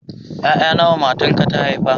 Ƴaƴa nawa matarka ta haifa?